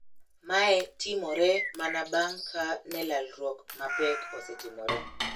Mae timore mana bang` ka ne lalruok mapek osetimore.